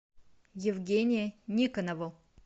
евгения никонова